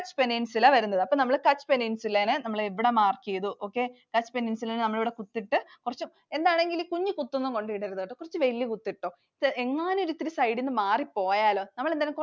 Kutch Peninsula വരുന്നത്. അപ്പൊ നമ്മൾ Kutch Peninsula നെ നമ്മൾ ഇവിടെ mark ചെയ്തു. okay Kutch Peninsula നെ നമ്മൾ ഇവിടെ കുത്തിട്ടു കുറച്ചു, എന്താണെങ്കിലും കുഞ്ഞി കുത്തൊന്നും കൊണ്ട് ഇടരുത്. കുറച്ചു വലിയ കുത്തു ഇട്ടോ. എങ്ങാനും ഇത് ഇത്തിരി side ന്നു മാറിപോയാലോ. നമ്മൾ എന്തായാലും